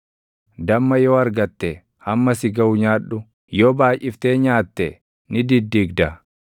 Damma yoo argatte hamma si gaʼu nyaadhu; yoo baayʼiftee nyaatte ni diddigda.